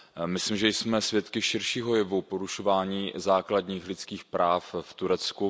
Myslím, že jsme svědky širšího jevu porušování základních lidských práv v Turecku.